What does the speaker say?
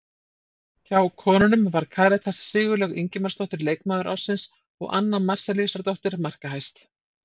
Hjá konunum var Karítas Sigurlaug Ingimarsdóttir leikmaður ársins og Anna Marzellíusardóttir markahæst.